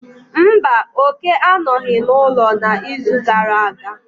Mba, Oke anọghị n'ụlọ n'izu gara aga.